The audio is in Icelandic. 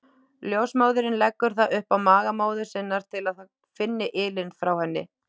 Ljósmóðirin leggur það upp á maga móður sinnar til að það finni ylinn frá henni.